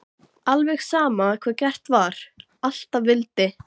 Alveg sama hvað gert var, alltaf vildi